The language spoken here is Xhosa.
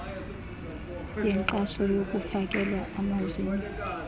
yenkxaso yokufakelwa amazinyo